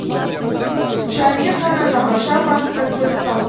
жаймен ғана нағашы апасына көз салды